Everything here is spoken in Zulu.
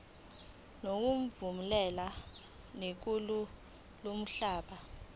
ngokuvumelana nelungu lomkhandlu